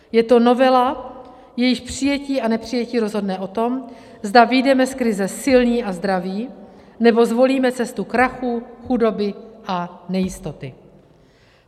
Je to novela, jejíž přijetí a nepřijetí rozhodne o tom, zda vyjdeme z krize silní a zdraví, nebo zvolíme cestu krachů, chudoby a nejistoty.